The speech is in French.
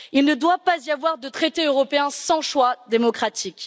Il ne doit pas y avoir de traités européens sans choix démocratique.